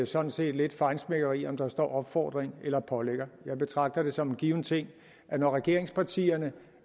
sådan set lidt feinschmeckeri om der står ordene opfordring eller pålægger jeg betragter det som en given ting at når regeringspartierne